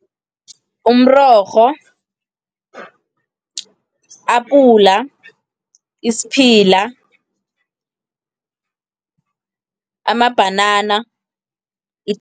Umrorho, apula, isiphila, amabhanana